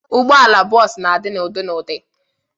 Ụgbọala bọs na-adi n'ụdị n'ụdị.